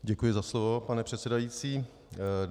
Děkuji za slovo, pane předsedající.